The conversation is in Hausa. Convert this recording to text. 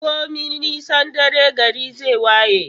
Komi nisan dare, gari zai waye.